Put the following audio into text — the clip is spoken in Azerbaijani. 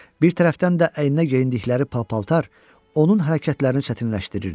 Bir tərəfdən də əyninə geyindikləri pal-paltar onun hərəkətlərini çətinləşdirirdi.